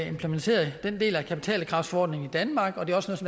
implementeret den del af kapitalkravsforordningen i danmark og det også